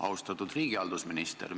Austatud riigihalduse minister!